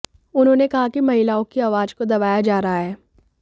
उन्होंने कहा कि महिलाओं की आवाज को दबाया जा रहा है